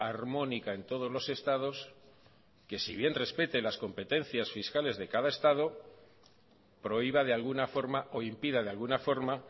armónica en todos los estados que si bien respete las competencias fiscales de cada estado prohíba de alguna forma o impida de alguna forma